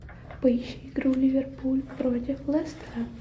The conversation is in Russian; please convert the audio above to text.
поищи игру ливерпуль против лестера